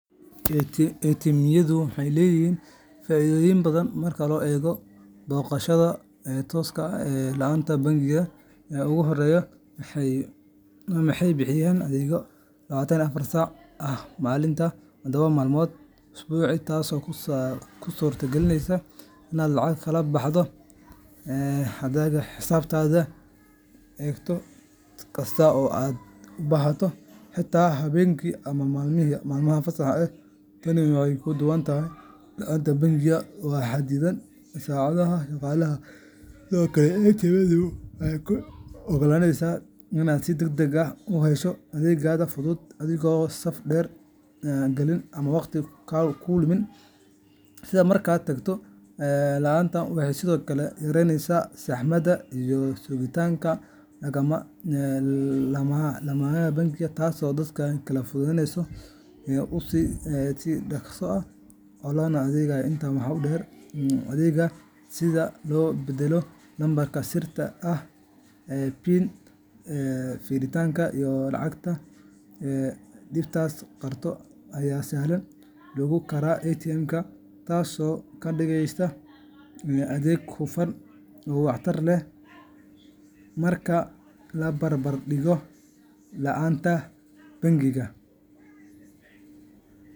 ATM-yadu waxay leeyihiin faa’iidooyin badan marka loo eego booqashada tooska ah ee laanta bangiga. Ugu horreyn, waxay bixiyaan adeeg afar iyo labatan saac ah maalintii, todoba maalmood usbuucii, taasoo kuu suurta galinaysa inaad lacag kala baxdo, hadhaaga xisaabta eegto, ama lacag u wareejiso xisaab kale wakhti kasta oo aad u baahato, xitaa habeenkii ama maalmaha fasaxa ah. Tani waxay ka duwan tahay laanta bangiga oo xadidan saacadaha shaqada. Sidoo kale, ATM-yadu waxay kuu oggolaanayaan inaad si degdeg ah u hesho adeegyada fudud adigoon saf u galin ama waqti ku lumin sida markaad tagto laanta. Waxay sidoo kale yareeyaan saxmadda iyo sugitaanka laamaha bangiyada, taasoo dadka kale fursad u siisa in si dhakhso ah loogu adeego. Intaa waxaa dheer, adeegyada sida beddelidda lambarka sirta ah PIN, fiirinta hadhaaga, iyo lacag-dhiibista qaarkood ayaa si sahlan loogu qaban karaa ATM-ka, taasoo ka dhigaysa adeeg hufan oo waxtar leh marka la barbardhigo laanta bangiga.